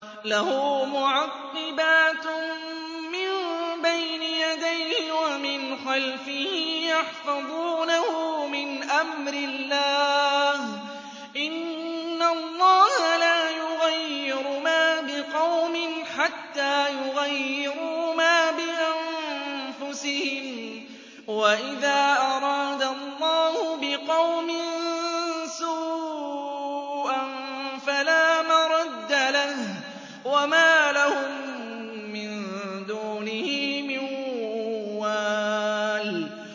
لَهُ مُعَقِّبَاتٌ مِّن بَيْنِ يَدَيْهِ وَمِنْ خَلْفِهِ يَحْفَظُونَهُ مِنْ أَمْرِ اللَّهِ ۗ إِنَّ اللَّهَ لَا يُغَيِّرُ مَا بِقَوْمٍ حَتَّىٰ يُغَيِّرُوا مَا بِأَنفُسِهِمْ ۗ وَإِذَا أَرَادَ اللَّهُ بِقَوْمٍ سُوءًا فَلَا مَرَدَّ لَهُ ۚ وَمَا لَهُم مِّن دُونِهِ مِن وَالٍ